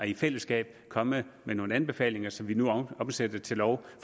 i fællesskab kommet med nogle anbefalinger som vi nu omsætter til lov